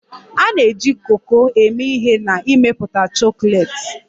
A na-eji koko eme ihe n'ịmepụta chocolates.